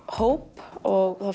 hóp og þá